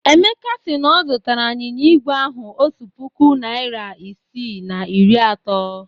Emeka si na ọ zụtara anyịnya igwe ahụ otu puku naịra isii na iri atọ.